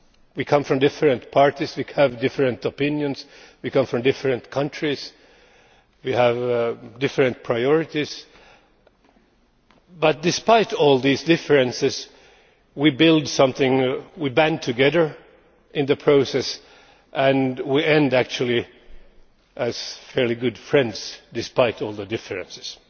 We come from different parties and have different opinions, we come from different countries and have different priorities but, despite all these differences, we build something. We band together in the process and actually we end up being fairly good friends, despite all the differences.